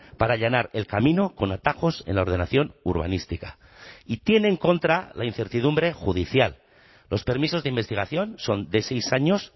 para allanar el camino con atajos en la ordenación urbanística y tiene en contra la incertidumbre judicial los permisos de investigación son de seis años